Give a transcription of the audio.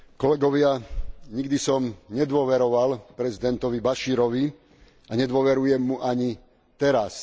Kolegovia, nikdy som nedôveroval prezidentovi Bašírovi a nedôverujem mu ani teraz.